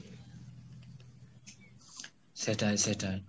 সেটাই সেটাই।